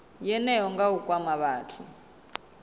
yeneyo nga u kwama vhathu